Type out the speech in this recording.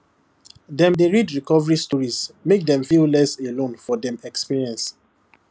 dem dey read recovery stories make dem feel less alone for dem experience